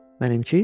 Mənimki?